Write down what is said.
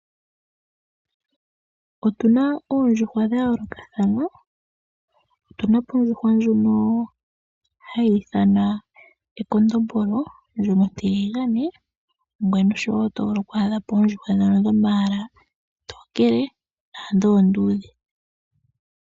Otuna oondjuhwa dhayoolokathana . Otuna po ondjuhwa ndjono hayi ithanwa ekondombolo ndjono ontiligane noshowoo oto vulu oku adhapo oondjuhwa ndhono oontonkele naandhi oondudhe.